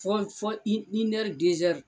Fɔ fɔ inɛri dɛsɛri.